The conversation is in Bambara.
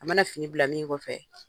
A mana fini bila min kɔfɛ